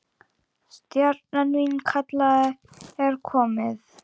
Stjana mín, kallið er komið.